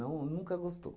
nunca gostou.